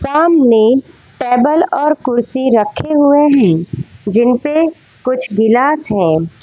सामने टेबल और कुर्सी रखे हुए है जिनपे कुछ गिलास हैं।